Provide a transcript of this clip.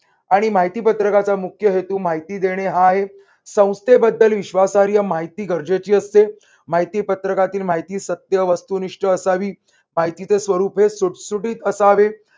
आणि माहिती पत्रकाचा मुख्य हेतू माहिती देणे हा आहे. संस्थेबद्दल विश्वासहार्य माहिती गरजेची असते. माहिती पत्रकातील माहिती सत्य, वस्तुनिष्ठ असावी. माहितीचे स्वरूप हे सुटसुटीत असावे.